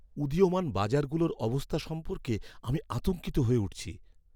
উদীয়মান বাজারগুলোর অবস্থা সম্পর্কে আমি আতঙ্কিত হয়ে উঠছি।